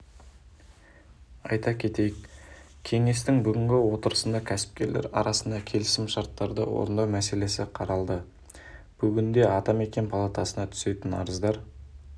айта кетейік кеңестің бүгінгі отырысында кәсіпкерлер арасындағы келісімшарттарды орындау мәселесі қаралды бүгінде атамекен палатасына түсетін арыздар